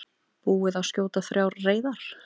Búið að skjóta þrjár reyðar